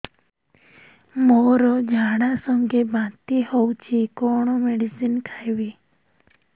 ମୋର ଝାଡା ସଂଗେ ବାନ୍ତି ହଉଚି କଣ ମେଡିସିନ ଖାଇବି